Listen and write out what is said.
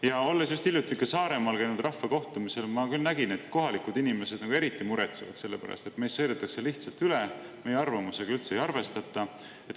Ja olles just hiljuti Saaremaal käinud rahvakohtumisel, ma küll nägin, et kohalikud inimesed eriti muretsevad selle pärast, et meist sõidetakse lihtsalt üle, meie arvamusega üldse ei arvestata.